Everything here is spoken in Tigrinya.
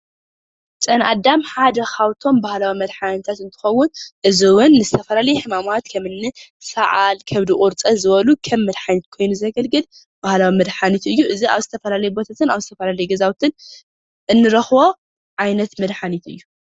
ጨና ኣዳም ሓደ ካብቶም ባህላዊ መድሓኒታት እንትኸውን እዚ እውን ንዝተፈላለየ ሕማማት ከምን ሰዓል ከብዲ ቁርፅን ዝበሉ ከም መድሓኒት ኮይኑ ዘገልግል ባህላዊ መድሓኒቱ እዩ እዚ ኣብ ዝተፈላለየ ቦታታትን ኣብ ዝተፈላለየ ገዛውትን እንረኽቦ ዓይነት መድሓኒት እዩ።